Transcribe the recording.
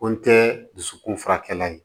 Ko n tɛ dusukun furakɛ yen